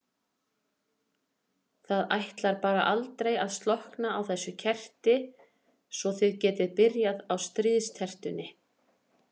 Það ætlar bara aldrei að slokkna á þessu kerti svo þið getið byrjað á stríðstertunni.